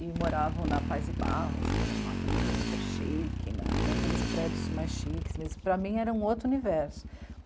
e moravam na Paz e Barros, que era uma avenida super chique, na... naqueles prédios mais chiques, mas para mim era um outro universo.